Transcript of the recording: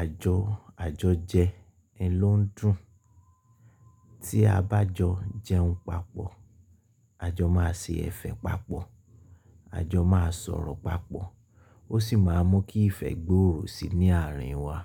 àjọ àjọjẹ ẹ ló ń dùn. Tí a bá jọ jẹun papọ̀, àjọ máa ṣe ẹ̀fẹ̀ papọ̀, àjọ máa sọ̀rọ̀ papọ̀ ó sì máa mú kí ìfẹ́ gbòòrò sí ní ààrin wa.